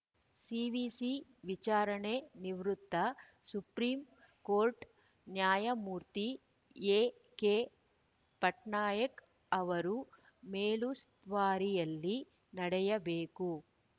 CVC ವಿಚಾರಣೆ ನಿವೃತ್ತ supreme court ನ್ಯಾಯಮೂರ್ತಿ ಎಕೆ ಪಟ್ನಾಯಕ್‌ ಅವರು ಮೇಲುಸ್ತುವಾರಿಯಲ್ಲಿ ನಡೆಯಬೇಕು ಎಂದು ಸೂಚಿಸಿತು